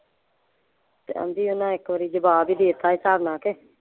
ਤੇ ਆਂਦੀ ਓਹਨਾਂ ਇੱਕ ਵਾਰੀ ਜਵਾਬ ਹੀ ਦੇ ਤਾ ਸੀ ਹਿਸਾਬ ਨਾਲ ਕੇ